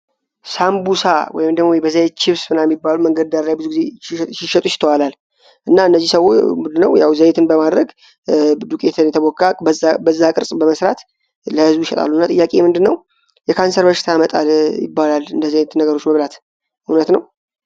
ሳምቡሳ ወይም ደግሞ በዘይት ችብስ ምናምን ሚባሉ መንገድ ዳር ላይ ብዙ ጊዜ ሲሸጡ ይተዋላል። እና እነዚህ ምድነው ያው ዘይትን በማድረግ ዱቄትን የተቦካቅ በዛ ቅርጽ በመስራት ለህዝቡ ይሸጣሉና ጥያቄ ምንድነው የካንሰር በሽታ ያመጣል ይባላል እንደ ዘይት ነገሮች መብላት እውነት ነው?